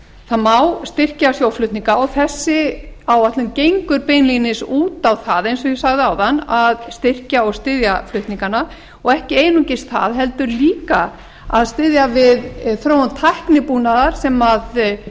það má styrkja sjóflutninga og þessi áætlun gengur beinlínis út á það eins og ég sagði áðan að styrkja og styðja flutningana og ekki einungis það heldur líka að styðja við þróun tæknibúnaðar sem